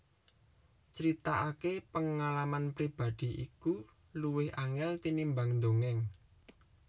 Critakake pengalaman pribadi iku luwih angel tinimbang ndongeng